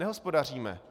Nehospodaříme!